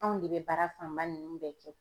Anw de bɛ baara fanba ninnu bɛɛ kɛ.